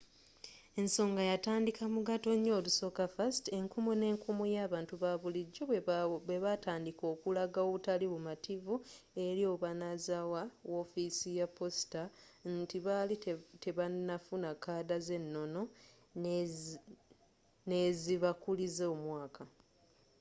ensonga yatandika mu gatonya olusooka 1st enkumu ne nkumu y'abantu ba bulijjo bwe batandika okulaga obutali bu mativu eri obanazawa wofiisi ya posita nti baali tebanafuna kaada z'enono n'ezibakuliza omwaka